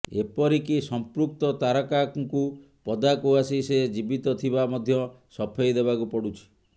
ଏପରିକି ସଂପୃକ୍ତ ତାରକାଙ୍କୁ ପଦାକୁ ଆସି ସେ ଜୀବୀତ ଥିବା ମଧ୍ୟ ସଫେଇ ଦେବାକୁ ପଡ଼ୁଛି